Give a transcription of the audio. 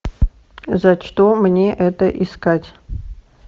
за что мне это искать